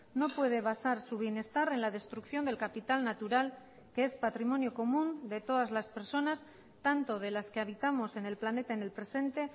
no puede basar su bienestar en la destrucción del capital natural que es patrimonio común de todas las personas tanto de las que habitamos en el planeta en el presente